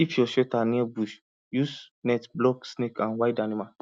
if your shelter near bush use net block snake and wild animal